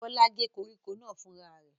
Bọ́lá gé koríko náà fúnra rẹ̀?